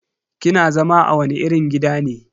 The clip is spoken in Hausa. Kina zama a wani irin gida ne?